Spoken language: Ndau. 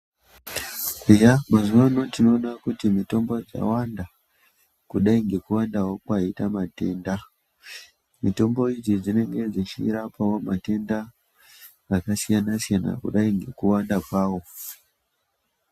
Eya mazuwano tinoona kuti mitombo dzawanda kudai ngekuwandawo kwaite matenda mitombo idzi dzinenge dzechirapawo matenda akasiyanasiyana kudai ngekuwanda kwawo.